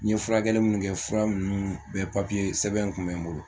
N ye furakɛli minnu kɛ, fura ninnu bɛɛ papiye, sɛbɛnw kun bɛ n bolo